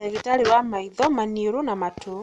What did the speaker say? Ndagitarĩ wa maitho, maniũrũ na matũ.